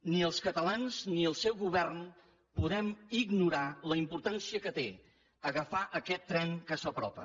ni els catalans ni el seu govern podem ignorar la importància que té agafar aquest tren que s’apropa